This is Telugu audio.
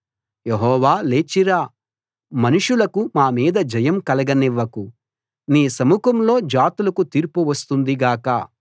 యెహోవా లేచి రా మనుషులకు మా మీద జయం కలగనివ్వకు నీ సముఖంలో జాతులకు తీర్పు వస్తుంది గాక